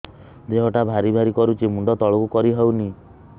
ଦେହଟା ଭାରି ଭାରି କରୁଛି ମୁଣ୍ଡ ତଳକୁ କରି ହେଉନି